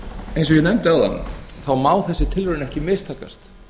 eins og ég nefndi áðan þá má þessi tilraun ekki mistakast